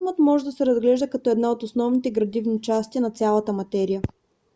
атомът може да се разглежда като една от основните градивни части на цялата материя